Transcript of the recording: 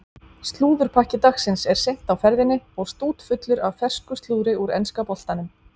Slúðurpakki dagsins er seint á ferðinni og stútfullur af fersku slúðri úr enska boltanum.